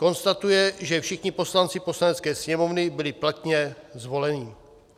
konstatuje, že všichni poslanci Poslanecké sněmovny byli platně zvoleni.